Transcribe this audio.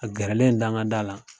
A gɛrɛlen dangada la